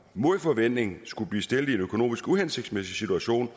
mod forventning skulle blive stillet i en økonomisk uhensigtsmæssig situation